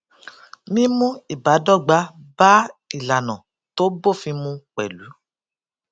mímú ìbádọgba bá ìlànà tó bófin mu pẹlú